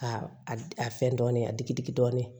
A a fɛn dɔɔnin a digi digi dɔɔnin